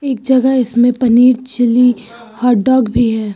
इक जगह इसमें पनीर चीली हॉट डॉग भी है।